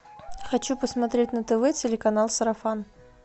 хочу посмотреть на тв телеканал сарафан